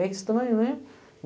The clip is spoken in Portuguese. É estranho, não é?